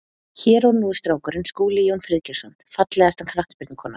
Hér og nú strákurinn Skúli Jón Friðgeirsson Fallegasta knattspyrnukonan?